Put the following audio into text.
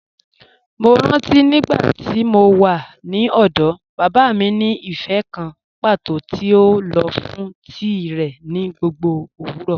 Mọ́ rántí nígbàtí mó wà ní ọ̀dọ̀, baba mi ni ífẹ́̀ kàn pátọ̀ tí o lọ fún tií rẹ ni gbogbo owurọ.